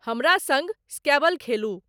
हमरा सँग स्कैबल खेलु